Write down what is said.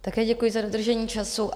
Také děkuji za dodržení času.